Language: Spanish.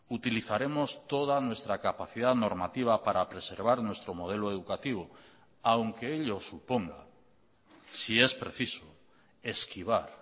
utilizaremos toda nuestra capacidad normativa para preservar nuestro modelo educativo aunque ellos suponga si es preciso esquivar